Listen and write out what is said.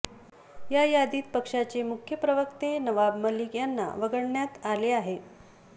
या यादीत पक्षाचे मुख्य प्रवक्ते नवाब मलिक यांना वगळण्यात आले आहे